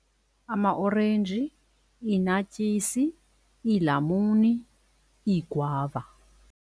Amaorenji, i-naartjies, iilamuni, iigwava.